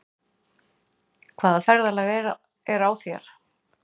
Hvaða ferðalag er á þér?